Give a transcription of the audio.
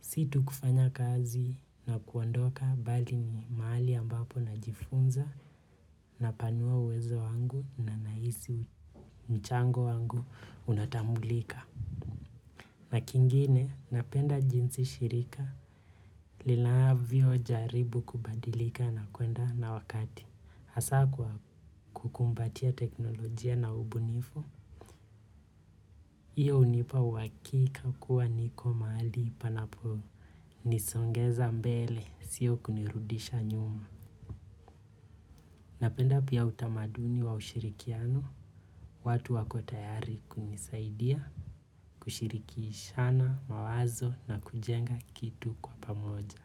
Situ kufanya kazi na kuondoka bali ni mahali ambapo najifunza na panua uwezo wangu na nahisi mchango wangu unatambulika. Na kingine napenda jinsi shirika linavyo jaribu kubadilika na kuenda na wakati hasa kwa kukumbatia teknolojia na ubunifu. Iyo hunipa uhakika kuwa niko mahali panapo nisongeza mbele, sio kunirudisha nyuma. Napenda pia utamaduni wa ushirikiano. Watu wako tayari kunisaidia. Kushirikishana, mawazo na kujenga kitu kwa pamoja.